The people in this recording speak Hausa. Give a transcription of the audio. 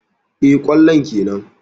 Eh, kwallon kenan.